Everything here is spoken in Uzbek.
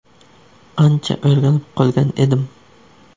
Ancha o‘rganib qolgan edim.